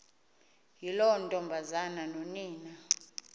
yiloo ntombazana nonina